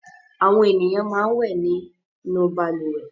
Àwọn ènìyàn máa ń wẹ̀ nínú balùwẹ̀.